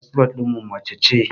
Firinsifal ɗinmu mace ce